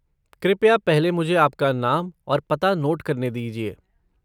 कृपया पहले मुझे आपका नाम और पता नोट करने दीजिये।